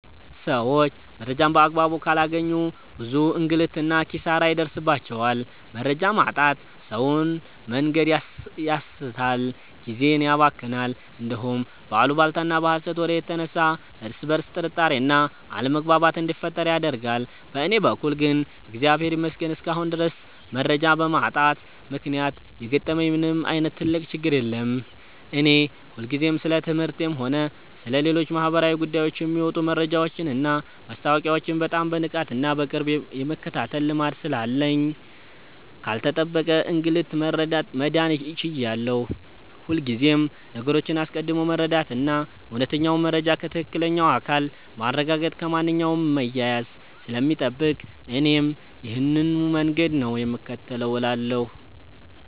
ሰዎች መረጃን በአግባቡ ካላገኙ ብዙ እንግልትና ኪሳራ ይደርስባቸዋል። መረጃ ማጣት ሰውን መንገድ ያሳስታል፣ ጊዜን ያባክናል፣ እንዲሁም በአሉባልታና በሐሰት ወሬ የተነሳ እርስ በርስ ጥርጣሬና አለመግባባት እንዲፈጠር ያደርጋል። በእኔ በኩል ግን እግዚአብሔር ይመስገን እስካሁን ድረስ መረጃ በማጣት ምክንያት የገጠመኝ ምንም ዓይነት ትልቅ ችግር የለም። እኔ ሁልጊዜም ስለ ትምህርቴም ሆነ ስለ ሌሎች ማኅበራዊ ጉዳዮች የሚወጡ መረጃዎችንና ማስታወቂያዎችን በጣም በንቃትና በቅርብ የመከታተል ልማድ ስላለኝ ካልተጠበቀ እንግልት መዳን ችያለሁ። ሁልጊዜም ነገሮችን አስቀድሞ መረዳትና እውነተኛውን መረጃ ከትክክለኛው አካል ማረጋገጥ ከማንኛውም መያያዝ ስለሚጠብቅ እኔም ይሄንኑ መንገድ ነው የምከተለው እላለሁ።